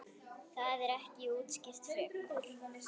Það er ekki útskýrt frekar.